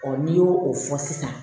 n'i y'o o fɔ sisan